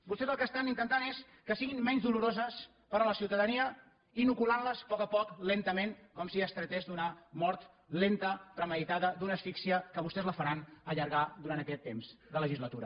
vostès el que estan intentant és que siguin menys doloroses per a la ciutadania inoculant les a poc a poc lentament com si es tractés d’una mort lenta premeditada d’una asfíxia que vostès la faran allargar durant aquest temps de legislatura